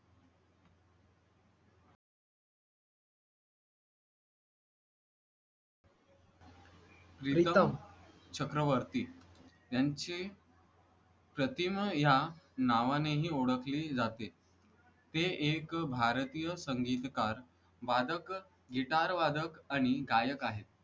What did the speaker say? प्रीतम चक्रवर्ती यांचे प्रतिमा ह्या नावानेही ओळखले जाते. ते एक भारतीय संगीतकार वादक गिटारवादक आणि गायक आहेत.